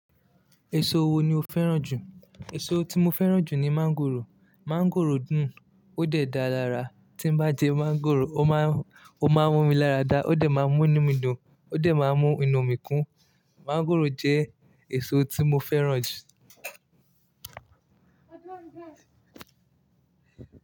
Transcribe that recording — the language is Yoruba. Èso wo ni o fẹ́ràn jù? Èso tí mo fẹ́ràn jù ni mangòrò. Mangòrò dùn, ó dẹ̀ da lára. Tí bá jẹ mangòrò, ó máa ń mú mi lára dá, ó dẹ̀ máa ń mú inú mi dùn, ó dẹ̀ máa ń mú inú mi kún. Mọ́ngòrò jẹ́ èso tí mo fẹ́ràn jù.